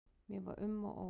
Mér var um og ó.